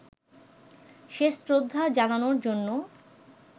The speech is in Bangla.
শেষ শ্রদ্ধা জানানোর জন্য